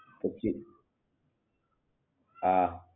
હા